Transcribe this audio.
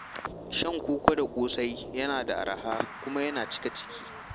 Shan koko da ƙosai yana da araha kuma yana cika ciki.